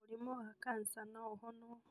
Mũrĩmũ wa kansa no ũhonwo